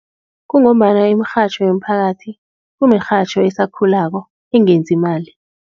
Kungombana imirhatjho yomphakathi imirhatjho esakhulako engenzi imali.